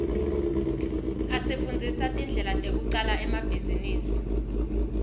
asifundzisa tindlela tekucala emabhizinisi